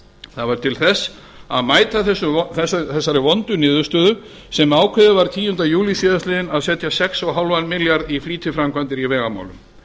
það var til þess að mæta þessari vondu niðurstöðu sem ákveðið var tíundi júlí síðastliðinn að setja sex og hálfan milljarð í flýtiframkvæmdir í vegamálum